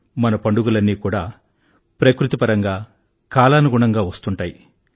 మన పండుగలన్నీ కూడా ప్రకృతిపరంగా కాలానుగుణంగా వస్తుంటాయి